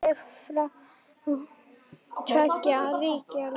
Fallið frá tveggja ríkja lausn?